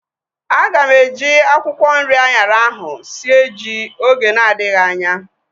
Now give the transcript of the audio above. Aga m eji akwụkwọ nri anyara ahu sie ji oge na adịghị anya